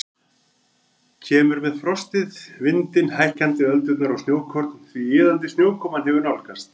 Kemur með frostið, vindinn, hækkandi öldurnar og snjókorn því iðandi snjókoman hefur nálgast.